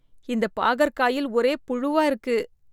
இந்தப் பாகற்காயில் ஒரே புழுவா இருக்கு